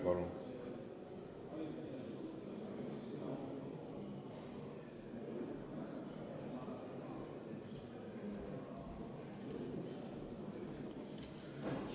Palun!